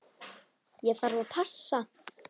Ég þarf að passa.